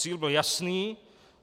Cíl byl jasný.